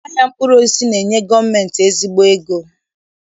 Ụlọ ahịa mkpụrụosisi na-enye gọọmentị ezigbo ego